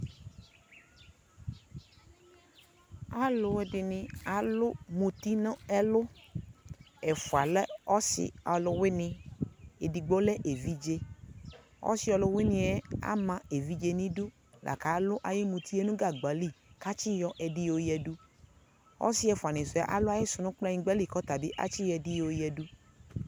alʋɛdini alʋ mʋti nʋ ɛlʋ, ɛƒʋa lɛ ɔsii ɔlʋwini, ɛdigbɔ lɛ ɛvidzɛ di, ɔsii ɔlʋwiniɛ ama ɛvidzɛ nʋ idʋ lakʋ alʋ ayi mʋtiɛ nʋ gagba li kʋ atsi yɔ ɛdi yɔ yadʋ, ɔsii ɛƒʋa ni sʋɛ alʋ ago sʋɛ nʋ kplayingba li kʋ atsi yɔ ɛdi yɔ yɛdʋ